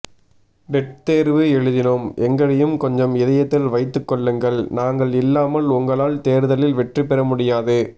dead தேர்வு எழுதினோம் எங்களையும் கொஞ்சம் இதயத்தில் வைத்துக் கொள்ளுங்கள் நாங்கள் இல்லாமல் உங்களால் தேர்தலில் வெற்றி பெற முடியாது